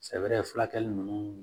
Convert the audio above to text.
Sɛbɛrɛ fulakɛli ninnu